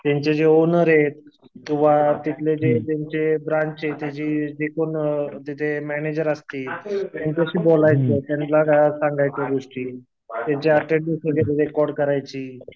त्यांचे जे ओनर येत किंवा तिथले जे त्यांचे ब्रांच चे अ जिथे मॅनेजर असतील त्यांच्याशी बोलायचं. त्यांला सांगायच्या गोष्टी. त्यांची रेकॉर्ड करायची.